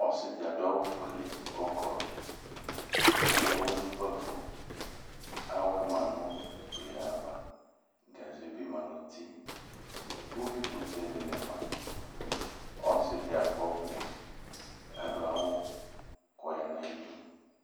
Ɔsɩ dɩ adʋ awʋfuele kʋ ɔkɔlʋƆkeyǝ awɛ nʋ ukpǝfo Awɛ ma nʋ ututule ava Gaze bɩ ma nʋ uti Uyuikʋtɛ dɩnɩ ma Ɔsɩ dɩ akɔ ɔvlɛ kʋ adʋ awʋ kʋ ɔya nʋ ayidu